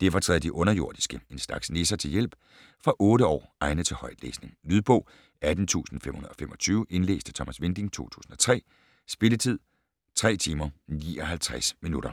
Derfor træder de underjordiske - en slags nisser - til hjælp. Fra 8 år. Egnet til højtlæsning. Lydbog 18525 Indlæst af Thomas Winding, 2003. Spilletid: 3 timer, 59 minutter.